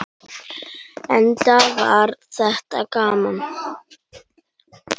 Enda var þetta gaman.